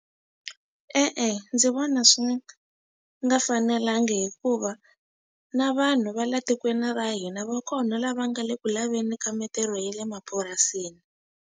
E-e, ndzi vona swi nga fanelanga hikuva na vanhu va la tikweni ra hina va kona lava nga le ku laveni ka mitirho ya le mapurasini.